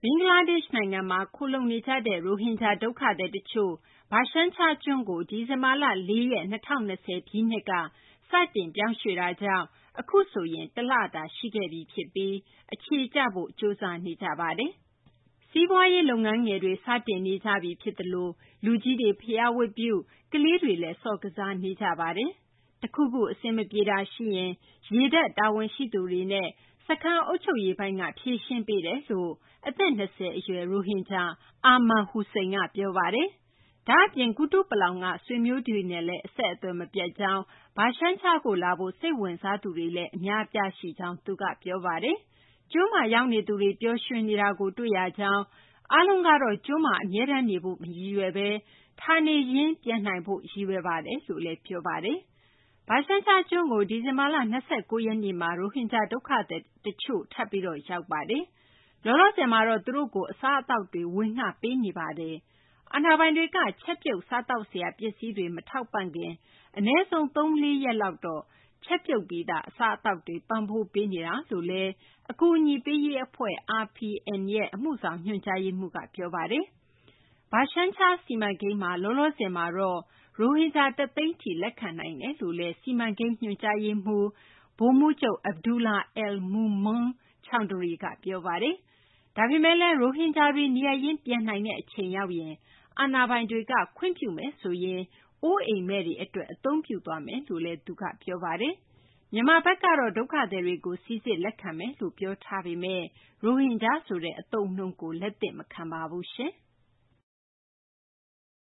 ဘင်္ဂလားဒေရှ့်နိုင်ငံမှာ ခိုလှုံနေကြတဲ့ ရိုဟင်ဂျာ ဒုက္ခသည် တချို့ Bhashan Char ကျွန်းကို ဒီဇင်ဘာလ ၄ ရက် ၂၀၂၀ ပြည့်နှစ်က စတင် ပြောင်းရွှေ့တာကြောင့် အခုဆိုရင် တလတာ ရှိခဲ့ပြီ ဖြစ်ပြီး အခြေကျဖို့ ကြိုးစားနေကြပါတယ်။ စီးပွားရေး လုပ်ငန်းငယ်တွေ စတင်နေပြီ ဖြစ်သလို လူကြီးတွေ ဘုရားဝတ်ပြုပြီး ကလေးတွေလည်း ကစားနေကြပါပြီ။ တခုခု အဆင်မပြေတာ ရှိရင်လည်း ရေတပ် တာဝန်ရှိသူတွေနဲ့ စခန်း အုပ်ချုပ်ရေးပိုင်းက ဖြေရှင်းပေးတယ်လို့ အသက် ၂၀ အရွယ် ရိုဟင်ဂျာ Arman Hossain က ပြောပါတယ်။ ဒါ့အပြင် ကုတုပလောင်က ဆွေမျိုးတွေနဲ့လည်း အဆက်အသွယ် မပြတ်ကြောင်း၊ Bhashan char ကို လာဖို့ စိတ်ဝင်စားသူတွေလည်း အများအပြား ရှိကြောင်း သူက ပြောပါတယ်။ ကျွန်းမှာ ရောက်နေသူတွေ ပျော်ရွှင်နေတာကို တွေ့ရကြောင်း၊ အားလုံးကတော့ ကျွန်းမှာ အမြဲတမ်းနေဖို့ မရည်ရွယ်ဘဲ ဌာနေပြန်နိုင်ရေးကို ရည်ရွယ်ကြောင်းလည်း ပြောပါတယ်။ Bhashan char ကျွန်းကို ဒီဇင်ဘာလ ၂၉ ရက်နေ့မှာ ရိုဟင်ဂျာ ဒုက္ခသည်တချို့ ထပ်ပြီး ရောက်ပါတယ်။ လောလောဆယ်မှာတော့ သူတို့ကို အစားအသောက်တွေ ပေးနေပါတယ်။ အာဏာပိုင်တွေက ချက်ပြုတ် စားသောက်စရာ ပစ္စည်းတွေ မထောက်ပံ့ခင် အနည်းဆုံး ၃ ရက် - ၄ ရက်လောက်တော့ ချက်ပြုတ်ပြီးသား အစားအသောက်တွေ ပံ့ပိုးပေးနေကြောင်း အကူအညီပေးရေး အဖွဲ့ RPN ရဲ့ အမှုဆောင် ညွှန်ကြားရေးမှူးက ပြောပါတယ်။ Bhashan char စီမံကိန်းမှာ လောလောဆယ်မှာတော့ ရိုဟင်ဂျာ ၁၀၀,၀၀၀ ထိလက်ခံနိုင်တယ်လို့လည်း စီမံကိန်း ညွှန်ကြားရေးမှူး ဗိုလ်မှူးချုပ် Abdullah al Mamun Chawdhury က ပြောပါတယ်။ ဒါပေမယ့်လည်း ရိုဟင်ဂျာတွေ နေရပ်ရင်း ပြန်နိုင်တဲ့ အချိန်ရောက်ရင်တော့ အာဏာပိုင်တွေ ခွင့်ပြုမယ်ဆိုရင် အိုးအိမ်မဲ့တွေ အတွက် အသုံးပြုသွားမယ်လို့လည်း သူက ပြောပါတယ်။ မြန်မာဘက်ကတော့ ဒုက္ခသည်တွေကို စိစစ် လက်ခံမယ် ပြောထားပေမယ့် ရိုဟင်ဂျာဆိုတဲ့ အသုံးအနှုန်းကို လက်မခံပါဘူး။